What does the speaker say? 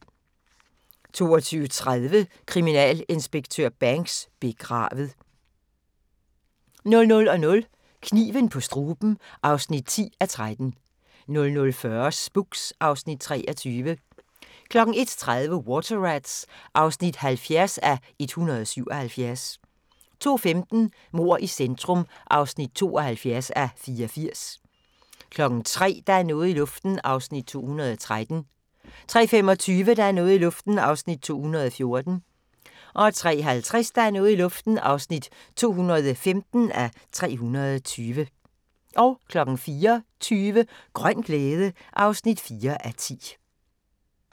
22:30: Kriminalinspektør Banks: Begravet 00:00: Kniven på struben (10:13) 00:40: Spooks (Afs. 23) 01:30: Water Rats (70:177) 02:15: Mord i centrum (72:84) 03:00: Der er noget i luften (213:320) 03:25: Der er noget i luften (214:320) 03:50: Der er noget i luften (215:320) 04:20: Grøn glæde (4:10)